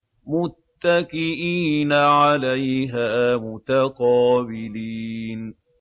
مُّتَّكِئِينَ عَلَيْهَا مُتَقَابِلِينَ